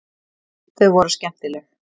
Þau voru skemmtileg.